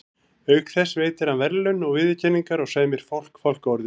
Auk þess veitir hann verðlaun og viðurkenningar og sæmir fólk fálkaorðunni.